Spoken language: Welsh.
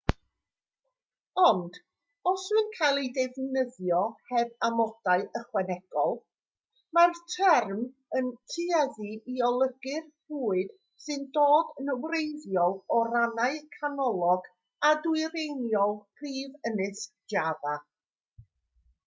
ond os yw'n cael ei ddefnyddio heb amodau ychwanegol mae'r term yn tueddu i olygu'r bwyd sy'n dod yn wreiddiol o rannau canolog a dwyreiniol prif ynys java